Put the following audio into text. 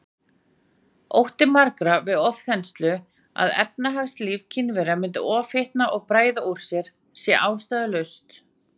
Ótti margra við ofþenslu, að efnahagslíf Kínverja myndi ofhitna og bræða úr sér, sé ástæðulaus.